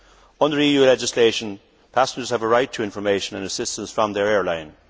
Under EU legislation, passengers have a right to information and assistance from their airline.